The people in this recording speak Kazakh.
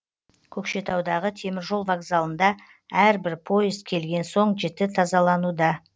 көкшетаудағы теміржол вокзалында әрбір поезд келген соң жіті тазалануда